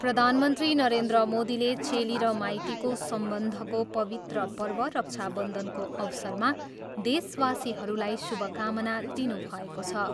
प्रधानमन्त्री नरेन्द्र मोदीले चेली र माइतीको सम्बन्धको पवित्र पर्व रक्षाबन्धनको अवसरमा देशवासीहरूलाई शुभकाना दिनुभएको छ।